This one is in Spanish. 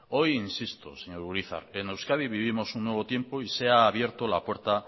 hoy insisto señor urizar en euskadi vivimos un nuevo tiempo y se ha abierto la puerta